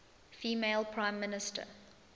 female prime minister